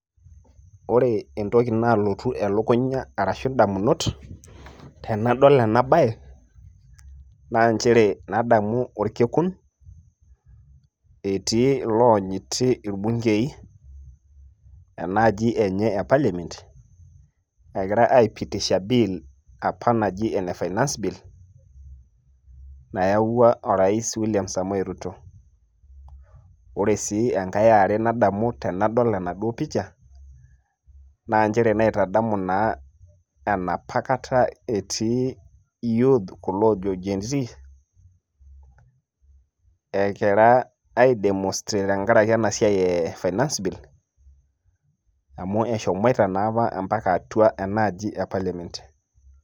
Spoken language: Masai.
Ore entoki nalotu elukunya arashu indamunot, tenadol ena bae, naa njere nadamu orkekun, etii iloonyiti irbunkei, enaaji enye e parliament ,egira aipitisha bill ,apa naji ene finance bill ,nayawua o rais William Samoei Ruto. Ore si enkae eare nadamu tenadol enaduo picha ,na njere naitadamu naa enapa kata etii youths ,kulo jo Gen-zs, egira ai demonstrate tenkaraki finance bill ,amu eshomoita taa mpaka atua enaaji e parliament.